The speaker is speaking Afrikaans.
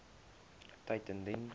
tyd indien